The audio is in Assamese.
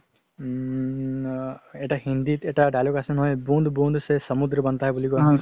উম আ.. এটা হিন্দিত এটা dialogue আছে নহয় bund bund see সামুদ্ৰা banta hair বুলি কৈছিলে